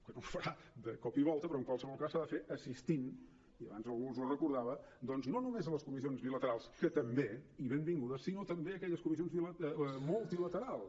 que no es farà de cop i volta però en qualsevol cas s’ha de fer assistint i abans algú els ho recordava doncs no només a les comissions bilaterals que també i benvingudes sinó també a aquelles comissions multilaterals